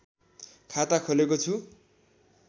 खाता खोलेको छु